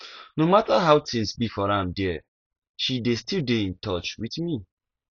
no mata how tins be for am there she dey still dey in touch with me